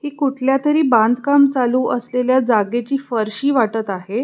हे कुठल्या तरी बांधकाम चालू असलेल्या जागेची फरशी वाटत आहे.